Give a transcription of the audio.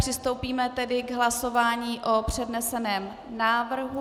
Přistoupíme tedy k hlasování o předneseném návrhu.